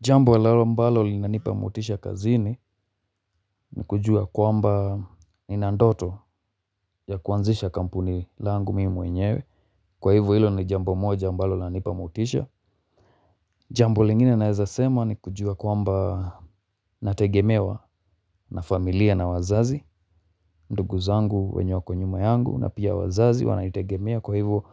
Jambo lao ambalo linanipa motisha kazini ni kujua kwamba nina ndoto ya kuanzisha kampuni langu mii mwenyewe. Kwa hivo hilo ni jambo moja ambalo lanipa motisha. Jambo lingine naeza sema ni kujua kwamba nategemewa na familia na wazazi. Ndugu zangu wenye wako nyuma yangu na pia wazazi wananitegemea kwa hivo